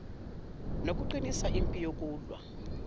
nokuqinisa impi yokulwa